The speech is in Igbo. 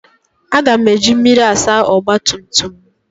Aga m eji mmiri asa ọgba tum tum m.